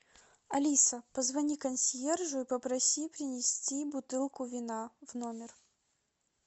алиса позвони консьержу и попроси принести бутылку вина в номер